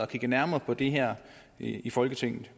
kigget nærmere på det her i folketinget